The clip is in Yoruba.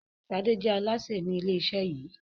Ṣade jẹ́ Alásè ni ilé iṣẹ yìí